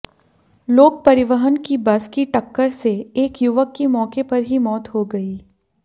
लोकपरिवहन की बस की टक्कर से एक युवक की मौके पर ही मौत हो गई